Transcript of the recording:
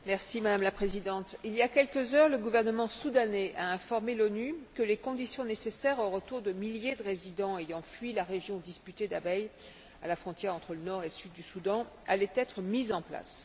Madame la Présidente, il y a quelques heures, le gouvernement soudanais a informé l'ONU que les conditions nécessaires au retour de milliers de résidents ayant fui la région disputée d'Abyei, à la frontière entre le Nord et le Sud du Soudan, allaient être mises en place.